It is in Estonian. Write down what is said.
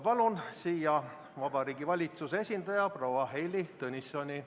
Palun siia Vabariigi Valitsuse esindaja proua Heili Tõnissoni.